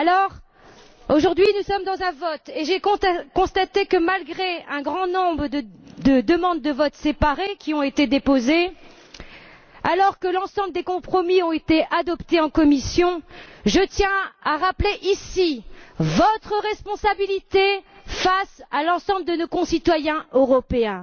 Alors, aujourd'hui, nous sommes face à un vote, et j'ai constaté que, malgré le grand nombre de demandes de vote séparé qui ont été déposées, alors que tous les compromis ont été adoptés en commission, je tiens à rappeler ici votre responsabilité face à l'ensemble de nos concitoyens européens.